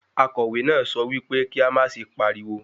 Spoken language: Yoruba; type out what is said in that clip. Akọ̀wé náà sọ wípé kí á má ṣe pariwo.